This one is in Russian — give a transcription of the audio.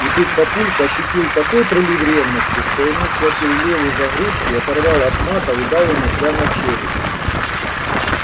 и тут папулька ощутил такой прилив ревности что ему схватил леву за грудки оторвал от матов и дал ему прямо в челюсть